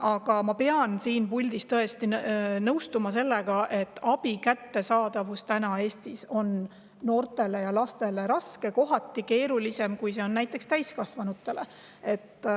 Aga ma pean siin puldis tõesti nõustuma sellega, et abi on täna noortele ja lastele Eestis raskesti kättesaadav, kohati isegi keerulisem, kui see on näiteks täiskasvanute puhul.